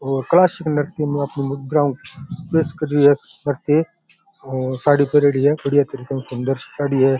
मुद्राओं प्रेस कर रही है प्रतियेक और साड़ी पेंरडी है सुन्दर सी साडी है।